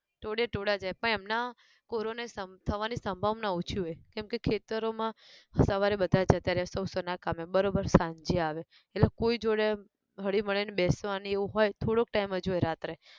ટોળે ટોળા જાય, પણ એમના, corona સમ થવાની સંભાવના ઓછી હોય, કેમકે ખેતરો માં સવારે બધા જતા રહ્યાં સૌ સૌ ના કામે બરોબર સાંજે આવે, એટલે કોઈ જોડે, હળીમળી ને બેસવાની એવું હોય થોડોક time જ હોય રાત્રે